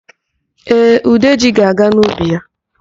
Ee, Udeji ga-aga n'ubi ya.